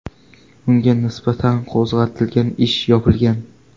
Unga nisbatan qo‘zg‘atilgan ish yopilgan.